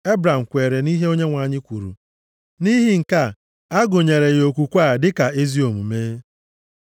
Ebram kweere nʼihe Onyenwe anyị kwuru. Nʼihi nke a, a gụnyere ya okwukwe a dịka ezi omume.